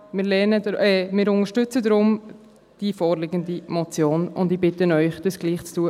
Wir unterstützen deshalb die vorliegende Motion, und ich bitte Sie, dies auch zu tun.